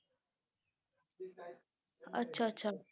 ਅੱਛਾ ਅੱਛਾ।